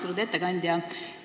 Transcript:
Austatud ettekandja!